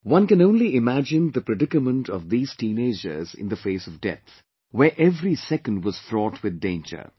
One can only imagine the predicament of these teenagers in the face of death, where every second was fraught with danger